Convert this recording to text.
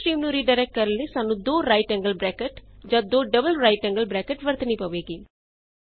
error stream ਨੂੰ redirect ਕਰਨ ਲਈ ਤੁਹਾਨੂੰ 2 ਰਾਈਟ ਐਂਗਲ ਬ੍ਰੈਕਟ ਜਾਂ 2 ਡਬਲ ਰਾਈਟ ਐਂਗਲ ਬ੍ਰੈਕਟ ਵਰਤਣੀ ਪਵੇਗੀ